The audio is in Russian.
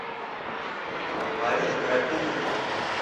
марина крапивина